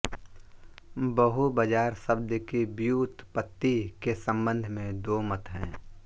बहूबाजार शब्द की व्युत्पत्ति के संबंध में दो मत हैं